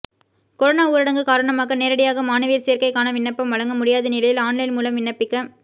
corona ஊரடங்கு காரணமாக நேரடியாக மாணவியர் சேர்க்கைக்கான விண்ணப்பம் வழங்க முடியாத நிலையில் ஆன்லைன் மூலம் விண்ணப்பிக்க